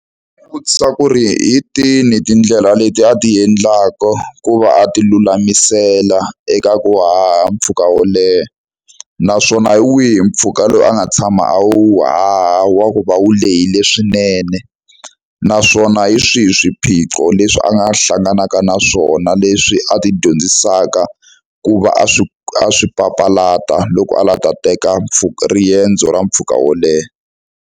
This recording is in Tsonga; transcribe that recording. U vutisa ku ri hi tini tindlela leti a ti endlaka ku va a tilulamisela eka ku haha mpfhuka wo leha naswona hi wihi mpfhuka lowu a nga tshama a wu haha wa ku va wu lehile swinene naswona hi swihi swiphiqo leswi a nga hlanganaka na swona leswi a tidyondzisaka ku va a swi a swi papalata loko a lava ku ta teka mpfhuka riendzo ra mpfhuka wo leha.